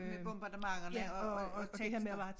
Med bombardementerne og og og tekster